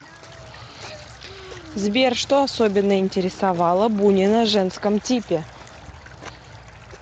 сбер что особенно интересовало бунина женском типе